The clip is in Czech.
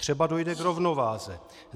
Třeba dojde k rovnováze.